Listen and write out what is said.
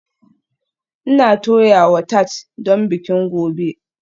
Ina toyawa tart don bikin gobe